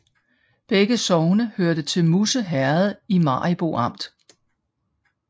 Begge sogne hørte til Musse Herred i Maribo Amt